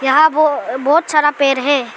यहां बहो बहोत सारा पेड़ है।